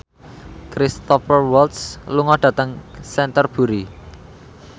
Cristhoper Waltz lunga dhateng Canterbury